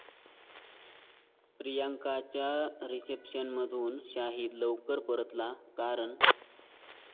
प्रियांकाच्या रिसेप्शनमधून शाहीद लवकर परतला, कारण...